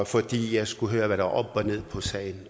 fordi jeg skulle høre hvad der og ned på sagen